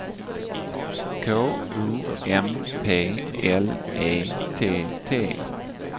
K O M P L E T T